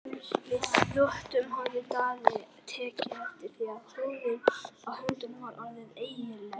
Við þvottinn hafði Daði tekið eftir því að húðin á höndunum var orðin ellileg.